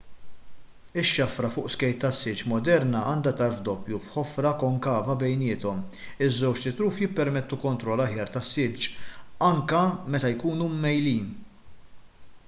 ix-xafra fuq skejt tas-silġ moderna għandha tarf doppju b'ħofra konkava bejniethom iż-żewġt itruf jippermettu kontroll aħjar tas-silġ anke meta jkunu mmejjlin